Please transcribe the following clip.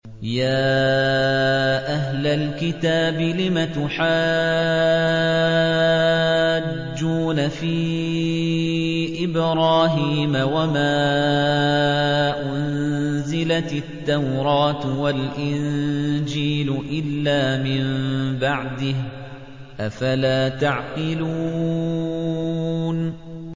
يَا أَهْلَ الْكِتَابِ لِمَ تُحَاجُّونَ فِي إِبْرَاهِيمَ وَمَا أُنزِلَتِ التَّوْرَاةُ وَالْإِنجِيلُ إِلَّا مِن بَعْدِهِ ۚ أَفَلَا تَعْقِلُونَ